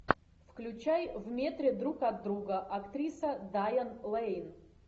включай в метре друг от друга актриса дайан лэйн